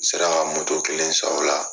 N sera ka moto kelen san o la